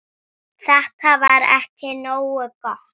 Þetta var ekki nógu gott.